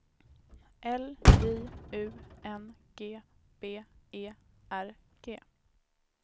L J U N G B E R G